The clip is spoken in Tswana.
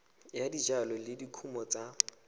ya dijalo le dikumo tsa